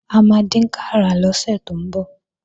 A máa dínkàrà lọ́sẹ̀ tó ń bọ̀